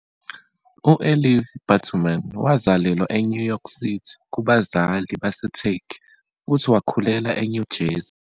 U-Elif Batuman wazalelwa eNew York City kubazali baseTurkey, futhi wakhulela eNew Jersey.